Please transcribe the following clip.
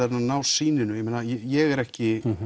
að ná sýninu ég meina ég er ekki